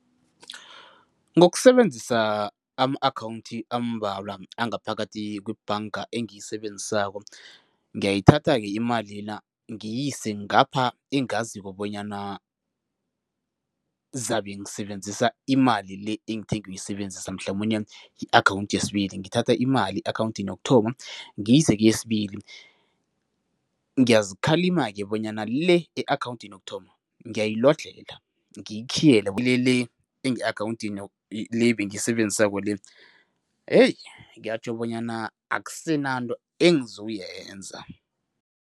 Ngokusebenzisa ama-akhawundi ambalwa angaphakathi kwebhanga engiyisebenzisa, ngiyayithatha-ke imali ngiyise ngapha engaziko bonyana zabe ngisebenzisa imali le engithe ngiyoyisebenzisa mhlamunye i-akhawundi yesibili. Ngithatha imali e-akhawundini yokuthoma, ngiyise keyesibili. Ngiyazikhalima-ke bonyana le e-akhawundini yokuthoma, ngiyayilodlhela, ngiyikhiyele kule le enge-akhawundini le ebengiyisebenzisako le, heyi kuyatjho bonyana akusenanto engizoyenza.